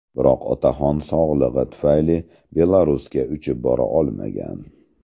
Biroq otaxon sog‘lig‘i tufayli Belarusga uchib bora olmagan.